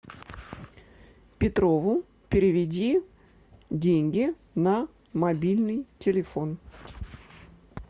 петрову переведи деньги на мобильный телефон